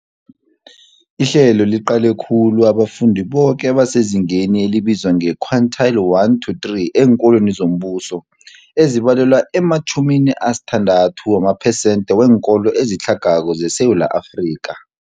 Ihlelo liqale khulu abafundi boke abasezingeni elibizwa nge-quintile 1-3 eenkolweni zombuso, ezibalelwa ema-60 wamaphesenthe weenkolo ezitlhagako zeSewula Afrika.